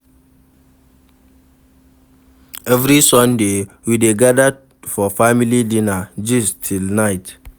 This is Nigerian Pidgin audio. Every Sunday, we dey gather for family dinner, gist till night.